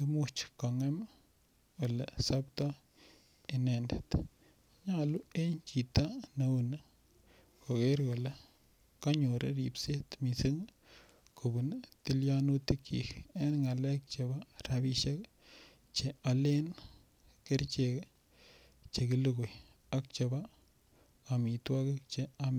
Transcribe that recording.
imuch kongem Ole soptoi inendet nyolu en chito neu ni koger kanyor ribset mising kobun tilyonutikyik en ngalek chebo rabisiek Che aalen kerichek Che ki lugui ak Che alen amitwogik Che ame